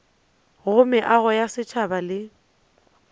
go meago ya setšhaba le